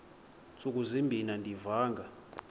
ntsuku zimbin andiyivanga